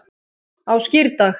á skírdag